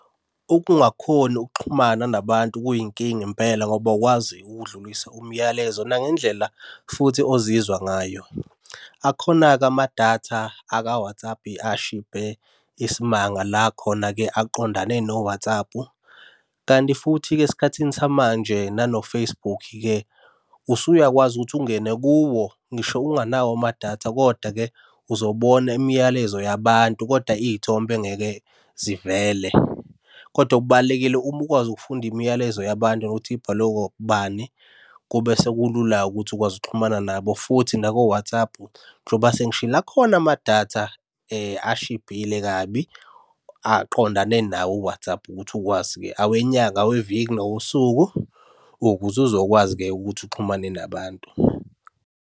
Ukungakhoni ukuxhumana nabantu kuyinkinga impela ngoba awukwazi ukudlulise umyalezo nangendlela futhi ozizwa ngayo. Akhona-ke amadatha aka-WhatsApp ashibhe isimanga la khona-ke aqondane no-WhatsApp, kanti futhi-ke esikhathini samanje nano-Facebook-ke, usuyakwazi ukuthi ungene kuwo ngisho unganawo amadatha, koda-ke uzobona imiyalezo yabantu kodwa iy'thombe ngeke zivele, kodwa okubalulekile uma ukwazi ukufunda imiyalezo yabantu nokuthi ibhalwe ubani. Kube sekulula-ke ukuthi ukwazi ukuxhumana nabo futhi nako WhatsApp njengoba sengishilo akhona amadatha ashibhile kabi, aqondane nawo u-WhatsApp ukuthi ukwazi-ke awenyanga, aweviki, nawosuku, ukuze uzokwazi-ke ukuthi uxhumane nabantu.